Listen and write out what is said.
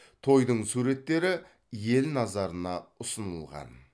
тойдың суреттері ел назарына ұсынылған